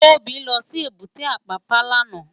Tobi lò sí ébùté Apàpá làná